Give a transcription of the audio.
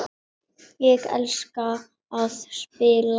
Ég elska að spila.